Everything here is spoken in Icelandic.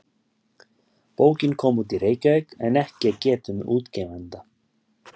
Bókin kom út í Reykjavík en ekki er getið um útgefanda.